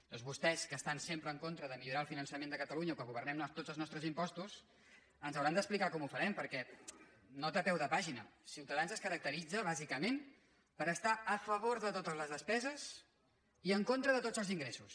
llavors vostès que estan sempre en contra de millorar el finançament de catalunya o que governem tots els nostres impostos ens hauran d’ex·plicar com ho farem perquè nota a peu de pàgina ciutadans es caracteritza bàsicament per estar a favor de totes les despeses i en contra de tots els ingressos